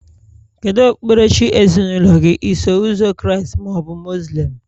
Kedu okpukperechi ezinaụlọ gị, Iso Ụzọ Kraịst ma ọ bụ Muslim?